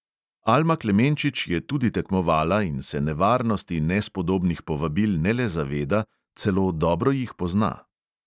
Alma klemenčič je tudi tekmovala in se nevarnosti nespodobnih povabil ne le zaveda, celo dobro jih pozna.